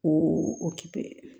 Ko o kɛ